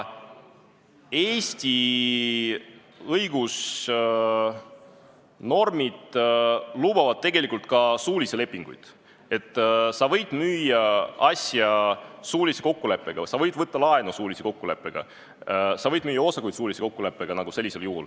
Eesti õigusnormid lubavad tegelikult ka suulisi lepinguid: sa võid müüa asja suulise kokkuleppega, sa võid võtta laenu suulise kokkuleppega, sa võid müüa osakuid suulise kokkuleppega.